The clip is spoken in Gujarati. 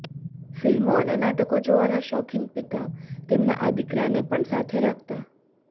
ફિલ્મો અને નાટકો જોવાના શોખીન પિતા તેમના આ દીકરાને પણ સાથે રાખતા